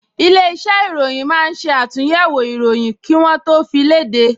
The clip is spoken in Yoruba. Ilé-iṣẹ́ ìròyìn máa ń ṣe àtúnyẹ̀wò ìròyìn kí wọ́ tó fi léde